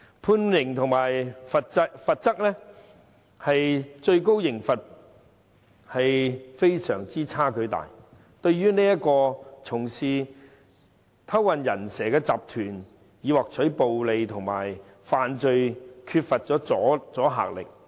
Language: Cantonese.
判刑與法例的最高刑罰有極大差距，對於經營偷運"人蛇"集團以獲取暴利的罪犯缺乏阻嚇力。